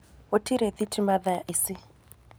Gũtĩrĩ thĩtĩma thaa ĩcĩ.